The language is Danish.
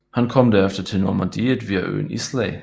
Han kom derefter til Normandiet via øen Islay